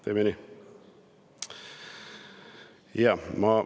Teeme nii!